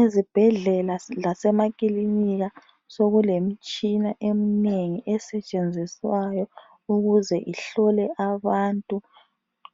Ezibhedlela lasemakilinika sokulemitshina eminengi esetshenziswayo ukuze ihlole abantu